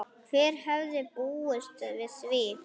Hver hefði búist við því?